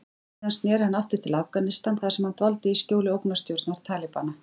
Síðar sneri hann aftur til Afganistan þar sem hann dvaldi í skjóli ógnarstjórnar Talibana.